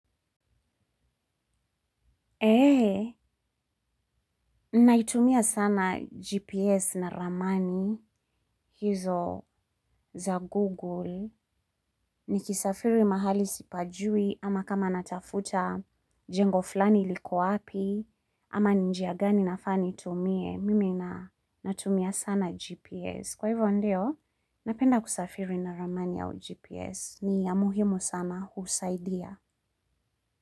Eee, naitumia sana GPS na ramani hizo za Google. Nikisafiri mahali sipajui ama kama natafuta jengo flani liko api ama ni njia gani nafaa nitumie. Mimi natumia sana GPS. Kwa hivyo ndio, napenda kusafiri na ramani au GPS. Ni ya muhimu sama, husaidia.